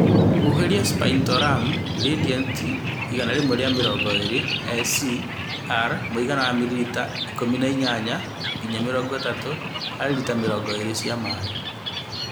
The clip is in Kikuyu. Huhĩrĩria spinetoram (Radiant 120 SC ((R))mũigana wa mililita 18-30 harĩ lita mirongo ĩĩrĩ cia maĩ.